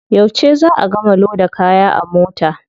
Yauce za a gama loda kaya a mota?